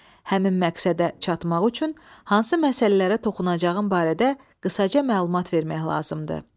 Həmin məqsədə çatmaq üçün hansı məsələlərə toxunacağım barədə qısaca məlumat vermək lazımdır.